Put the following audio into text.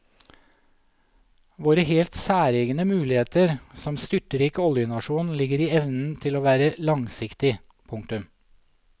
Våre helt særegne muligheter som styrtrik oljenasjon ligger i evnen til å være langsiktig. punktum